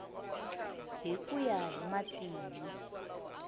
hi ku ya hi matimu